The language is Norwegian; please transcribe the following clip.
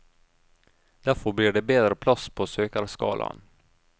Derfor blir det bedre plass på søkerskalaen.